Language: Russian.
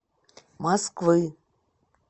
москвы